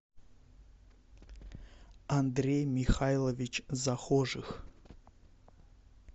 андрей михайлович захожих